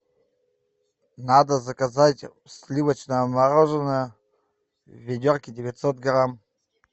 надо заказать сливочное мороженое в ведерке девятьсот грамм